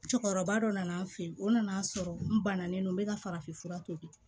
Cɛkɔrɔba dɔ nana an fɛ yen o nan'a sɔrɔ n bannalen no n bɛ ka farafinfura tobi